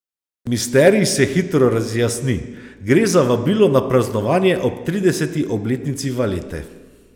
Misterij se hitro razjasni, gre za vabilo na praznovanje ob trideseti obletnici valete.